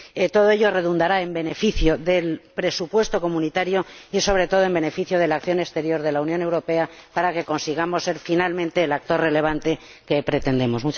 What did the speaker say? Todo ello redundará en beneficio del presupuesto de la Unión y, sobre todo, en beneficio de la acción exterior de la Unión Europea, para que consigamos ser, finalmente, el actor relevante que pretendemos.